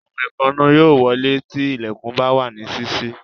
Àwọn ẹ̀fọn yóò wolé tí ilẹ̀kùn bá wà ní sísí